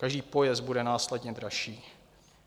Každý pojezd bude následně dražší.